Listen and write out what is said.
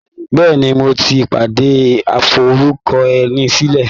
Bẹ́ẹ̀ni, mo ti pàdé aforúkọẹnisílẹ̀.